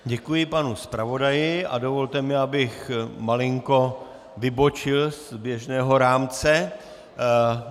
Děkuji panu zpravodaji a dovolte mi, abych malinko vybočil z běžného rámce.